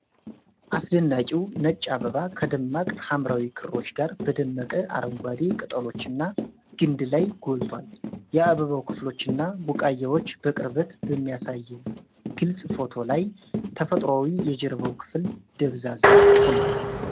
አስደናቂው ነጭ አበባ ከደማቅ ሐምራዊ ክሮች ጋር፣ በደመቀ አረንጓዴ ቅጠሎችና ግንድ ላይ ጎልቷል። የአበባው ክፍሎችና ቡቃያዎች በቅርበት በሚያሳየው ግልጽ ፎቶ ላይ፣ ተፈጥሯዊ የጀርባው ክፍል ደብዛዛ ሆኗል።